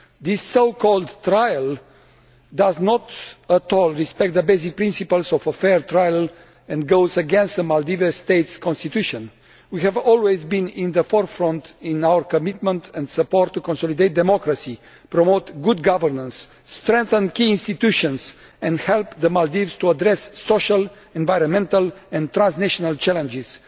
This so called trial does not at all respect the basic principles of a fair trial and goes against the Maldivian state's Constitution. We have always been at the forefront in our commitment and support to consolidate democracy, promote good governance, strengthen key institutions and help the Maldives to address social, environmental and transnational challenges.